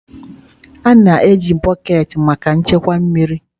A na-eji bọket maka nchekwa mmiri.